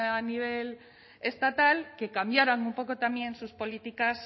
a nivel estatal que cambiaran un poco también sus políticas